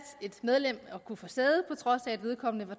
et medlem at kunne få sæde på trods af at vedkommende var